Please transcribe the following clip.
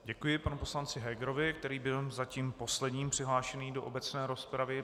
Děkuji panu poslanci Hegerovi, který byl zatím posledním přihlášeným do obecné rozpravy.